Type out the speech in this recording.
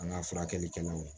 An ka furakɛlikɛlaw